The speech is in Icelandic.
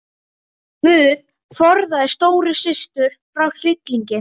GUÐ forðaðu stóru systur frá hryllingi.